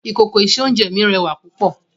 Ìkòkò ìse-oúnjẹ mi rẹwà púpọ̀